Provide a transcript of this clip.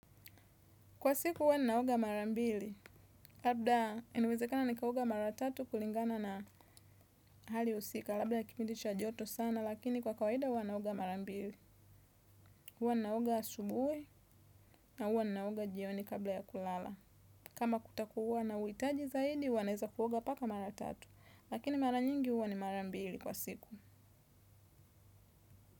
Kwa siku huwa ninaoga mara mbili. Labda, enawezekana nikaoga mara tatu kulingana na hali usika. Labda ya kipindi cha joto sana, lakini kwa kawaida huwa ninaoga mara mbili. Huwa ninaoga asubuhi na huwa ninaoga jioni kabla ya kulala. Kama kutakuwa na uitaji zaidi, hua naeza kuoga mpaka mara tatu. Lakini mara nyingi huwa ni mara mbili kwa siku.